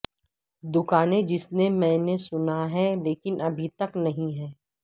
دکانیں جس نے میں نے سنا ہے لیکن ابھی تک نہیں ہے